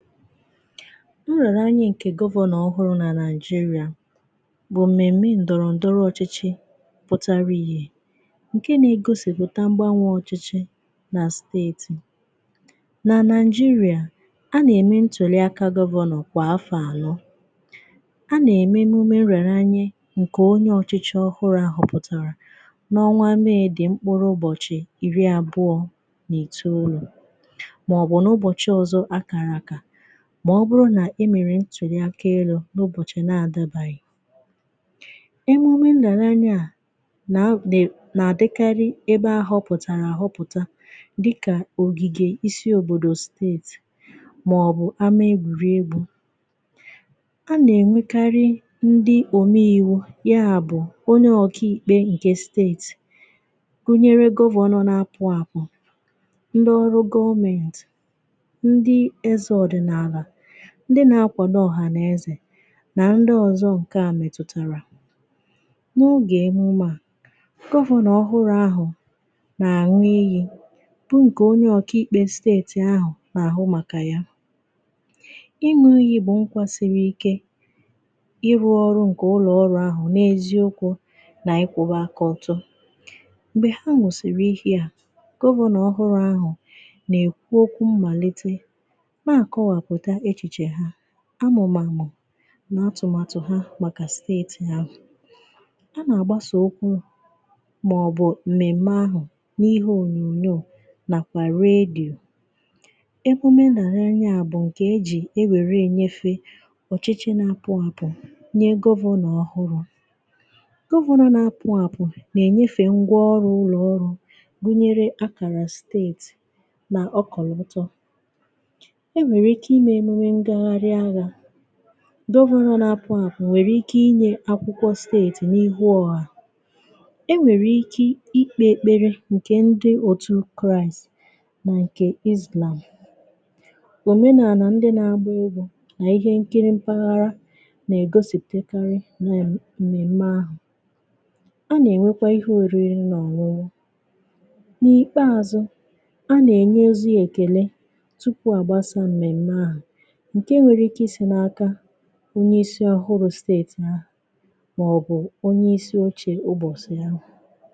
Nrị̀ọarị̀ ǹkè govọ̀nọ̀ ọhụrụ̀ nà nàịjirà bụ̀ mmèmme ǹdọ̀rọ̀ǹdọrọ ọchị̀chị̀ pụtara ihe ǹke nà-egosìpụta mgbanwè ọchị̀chị̀ nà steetì. Nà nàịjirià, a nà-ème ntùli aka govọ̀nọ̀ kwà afọ ànọ. A nà-ème emume nrị̀ọarị̀ ǹkè onye ọchị̀chị̀ ọhụrụ̀ ahụ̀ pụ̀tàrà n’ọnwa May dị̀ mkpụrụ ụbọ̀chị̀ iri abụọ̀ n’itoolù, mà ọ bụ n'ụbọ̀chị̀ ọzọ akara aka ma ọbụrụ na e mèrè ntụ̀ri aka elu̇ n’ụbọ̀chị̀ na-adabaghị̀. Emume nrị̀ọarị̀ à nà dịkari ebe ahọ̀pụ̀tàrà ahọpụ̀ta dịkà ògìgè isi òbòdò steetì màọ̀bụ̀ ama egwùri egwu̇. A nà-ènwekarị ndị òmiwu, ya bụ̀ onye ọ̀ka ìkpe nke steetì gunyere govọ̀nọ̀ n’apụ̀ apụ̀, ndị ọrụ̇ gọọmentì, ndi eze odinala, ndi na-akwàdo ọhànàezè nà ndị ọzọ ǹke à mètụ̀tàrà. N’ogè emùme a, govọ̀nọ̀ ọhụrụ ahụ̀ nà-àṅụ iyi bu ǹkè onye ọ̀kà ikpė steètì ahụ̀ nà àhụ màkà ya. Ịṅụ̇ iyi bụ nkwà siri ike ịrụ̇ ọrụ ǹkè ụlọọrụ ahụ̀ n’ezi okwụ̇ nà ịkwụ̇ba aka ọtọ. m̀gbè ha ṅụsiri iyi a gọvano ọhụrụ ahụ̀ nà-èkwu okwu mmàlitè na-akọwapụta echiche ha, amụ̀màmụ̀ nà atụ̀màtụ̀ ha màkà steetì ahu. A nà-àgbasà okwụ màọbụ̀ Mmmèm̀mè ahụ̀ n’ihe ònyòò ònyòò nàkwà redyò. Ekwenye n'anya bụ̀ ǹkè e jì e nwèrè ènyefe ọ̀chịchị nà-apụ àpụ nye govọ̀nọ̀ ọhụrụ. govọ̀nọ̀ nà-apụ àpụ nà-ènyefe ngwà ọrụ̇ ụlọ̀ ọrụ̇ gụnyere akàrà steetì nà ọkọ̀lọ̀tọ̀. Enwere ike ime emume ngaharị anya, govọ̀nọ̀ na-apụ apụ̀ nwere ike inyè akwụkwọ steetì n’ihu ọha, e nwere ike ikpe ekpere nkè ndị otu kraị̀s nà nkè islam. Òmenàalà ndị na-agba egwu nà ihe nkiri mpaghara na-egosipụtakarị na mmemmè ahụ̀. A na-enwekwà ihe orirì na ọṅụṅụ. N’ikpeazụ̀, a na-enye ozi ekele tupu agbasaa mmemme ahu nke nwere ike isi na aka onye isi ọhụrụ̇ steetì ha màọ̀bụ̀ onye isi ochė ụbọ̀sị̀ ahụ̀.